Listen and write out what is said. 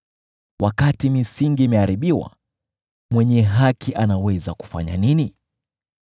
Wakati misingi imeharibiwa, mwenye haki anaweza kufanya nini?”